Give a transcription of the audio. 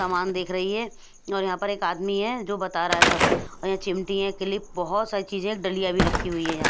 सामान देख रही है और यहाँ पर एक आदमी है जो बता रहा है सब यह चिमटी है क्लिप बहुत सारी चीजें डलिया भी रखी हुई हैं।